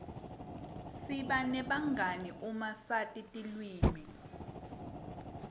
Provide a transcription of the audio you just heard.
siba nebangani uma sati tilwimi